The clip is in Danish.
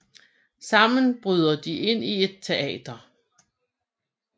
Sammen bryder de ind i et teater